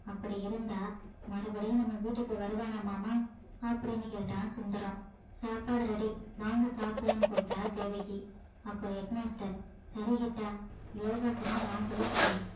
அப்படி இருந்தா மறுபடியும் நம்ம வீட்டுக்கு வருவானா மாமா அப்படின்னு கேட்டான் சுந்தரம் சாப்பாடு ready வாங்க சாப்பிடலான்னு கூப்பிட்டா தேவகி அப்போ head master சரி கிட்டா யோகாசனம் நான் சொல்லித் தர்றேன்